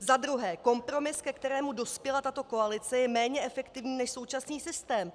Za druhé: Kompromis, ke kterému dospěla tato koalice, je méně efektivní než současný systém.